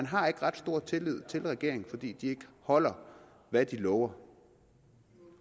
har ret stor tillid til regeringen fordi de ikke holder hvad de lover